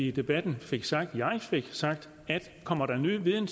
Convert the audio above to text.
i debatten fik sagt at jeg fik sagt at kommer der ny viden